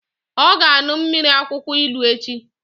Ọ ga-aṅụ mmiri akwụkwọ ilu echi!